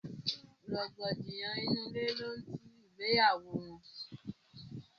rògbòdìyàn inú ilé ni ó tú ìgbéyàwó wọn.